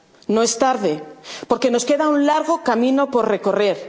No es tarde, porque nos queda un largo camino por